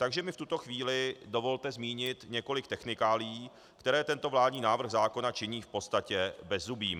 Takže mi v tuto chvíli dovolte zmínit několik technikálií, které tento vládní návrh zákona činí v podstatě bezzubým.